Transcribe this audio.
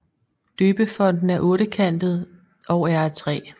Døbefonten er ottekantet og er af træ